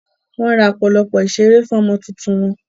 Wọ́n ra ọ̀pọ̀lọpọ̀ ìṣeré fún ọmọ tuntun wọn.